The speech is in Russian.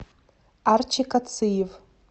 арчи кациев